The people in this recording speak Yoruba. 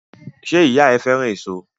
Ṣé ìyá ẹ fẹ́ràn èso?